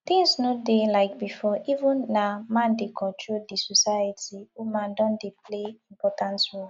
things no dey like before even if na man dey control di society woman don dey play important role